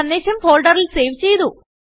സന്ദേശം ഫോൾഡറിൽ സേവ് ചെയ്തു